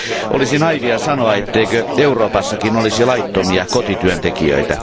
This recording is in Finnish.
Olisi naiivia sanoa, etteikö Euroopassakin olisi laittomia kotityöntekijöitä.